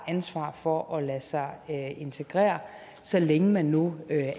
ansvar for at lade sig integrere så længe man nu